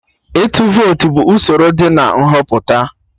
Ịtụ vote bụ usoro dị na Nhọpụta